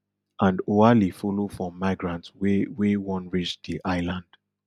and oualy follow for migrants wey wey wan reach di island